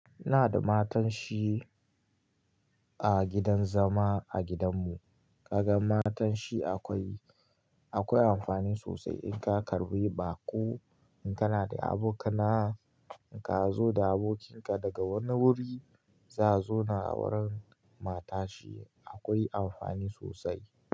Ina da matanshi a gidan zama a gidanmu. Kaga matanshi akwai amfani sosai in ka karbi baƙo. In kana da abokana, in ka zo da abokinka daga wani wuri, za zo na wurin matashi. Akwai amfani sosai.